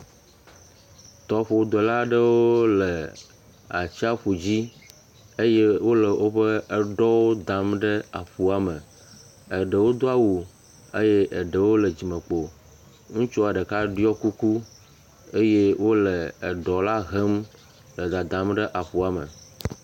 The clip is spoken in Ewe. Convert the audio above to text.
Tɔƒodela aɖewo le atsiaƒu dzi eye wole woƒe ɖɔwo dam ɖe aƒua me, eɖewo do awu eye eɖewo le dzimekpo, ŋutsua ɖeka ɖɔ kuku eye wole eɖɔa hem le dadam ɖe etɔa me.